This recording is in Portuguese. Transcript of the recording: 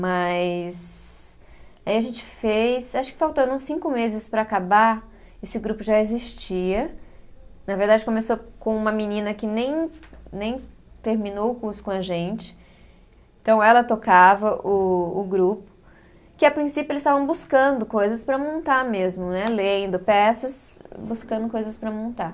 Mas aí a gente fez acho que faltando cinco meses para acabar esse grupo já existia na verdade começou com uma menina que nem nem terminou o curso com a gente, então ela tocava o o grupo que a princípio eles estavam buscando coisas para montar mesmo né, lendo peças buscando coisas para montar